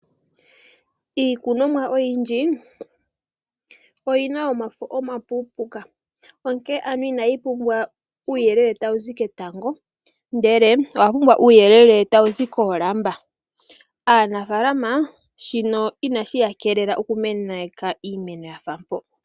Iikunomwa oyindji oyi na omafo omapuupuka onkene ano ina yi pumbwa uuyelele tawu zi ketango ndele owa pumbwa uuyelele tawu zi koolamba. Aanafalama shino ina shiya keelela okumeneka iimemo yafa mpo.